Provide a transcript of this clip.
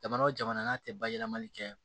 Jamana o jamana n'a tɛ bayɛlɛmali kɛ